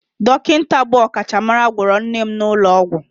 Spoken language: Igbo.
Dọkịta bụ ọkachamara gwọrọ nne m n'ụlọ ọgwụ